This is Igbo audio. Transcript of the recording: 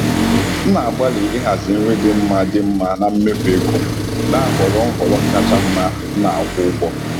M na-agbalị ịhazi nri dị mma dị mma na mmefu ego, na-ahọrọ nhọrọ kacha mma m na-akwụ ụgwọ.